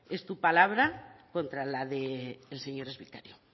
es tu palabra contra la del señor exvicario